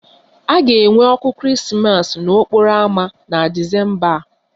A ga-enwe ọkụ Krismas n'okporo ámá na Disemba a